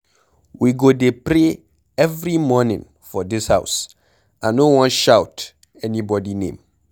We go dey pray every morning for dis house. I no wan shout anybody name.